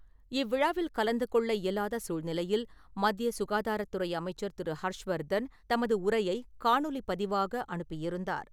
இவ்விழாவில் கலந்து கொள்ள இயலாத சூழ்நிலையில், மத்திய சுகாதாரத்துறை அமைச்சர் திரு. ஹர்ஷ் வர்தன், தமது உரையை காணொலி பதிவாக அனுப்பியிருந்தார்.